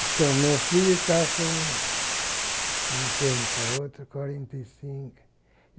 Então, meu filho tá com cinquenta, o outro com quarenta e cinco.